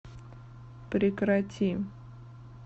прекрати